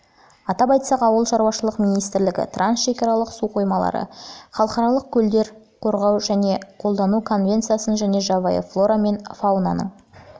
атап айтсақ ауылшаруашылық министрлігі трансшекаралық су қоймалары мен халықаралық көлдерді қорғау және қолдану конвенциясын және жабайы флора мен фаунаның